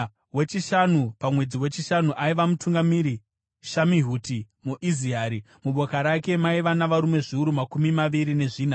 Wechishanu pamwedzi wechishanu, aiva mutungamiri Shamihuti muIzirahi. Muboka rake maiva navarume zviuru makumi maviri nezvina.